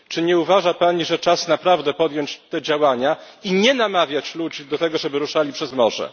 Czy nie uważa Pani, że czas naprawdę podjąć te działania i nie namawiać ludzi do tego, żeby ruszali przez morze?